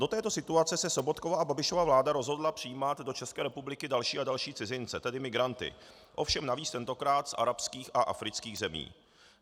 Do této situace se Sobotkova a Babišova vláda rozhodla přijímat do České republiky další a další cizince, tedy migranty, ovšem navíc tentokrát z arabských a afrických zemí.